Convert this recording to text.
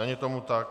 Není tomu tak.